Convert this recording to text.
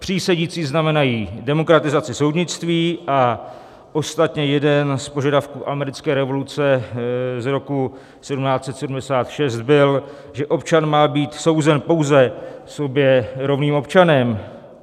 Přísedící znamenají demokratizaci soudnictví a ostatně jeden z požadavků americké revoluce z roku 1776 byl, že občan má být souzen pouze sobě rovným občanem.